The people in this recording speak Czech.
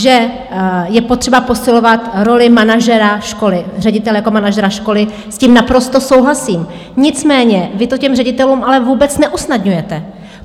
Že je potřeba posilovat roli manažera školy, ředitele jako manažera školy, s tím naprosto souhlasím, nicméně vy to těm ředitelům ale vůbec neusnadňujete.